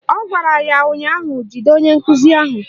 Ọ gwara ya ụnyaahụ "Jide onye nkụzi ahụ"!